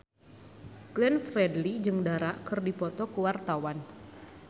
Glenn Fredly jeung Dara keur dipoto ku wartawan